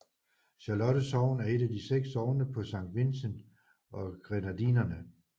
Charlotte sogn er et af seks sogne på Saint Vincent og Grenadinerne